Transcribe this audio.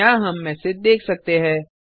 यहाँ हम मैसेज देख सकते है